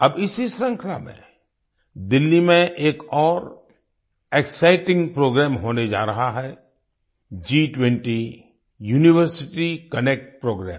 अब इसी श्रृंखला में दिल्ली में एक और एक्साइटिंग प्रोग्राम होने जा रहा है G20 यूनिवर्सिटी कनेक्ट प्रोग्राम